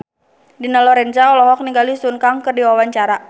Dina Lorenza olohok ningali Sun Kang keur diwawancara